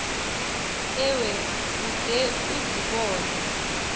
ewe ude uzibone